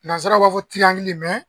Nansaraw b'a fɔ